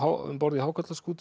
um borð í